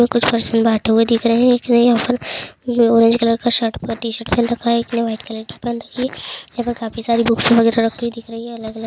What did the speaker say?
कुछ पर्सन बैठे हुए दिख रहे हैंये ऑरेंज कलर का शर्ट यहाँ पे काफी सारे बुक्स दिख रहे हैं अलग-अलग--